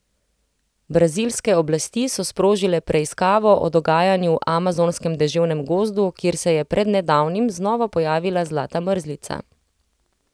Brazilske oblasti so sprožile preiskavo o dogajanju v amazonskem deževnem gozdu, kjer se je pred nedavnim znova pojavila zlata mrzlica.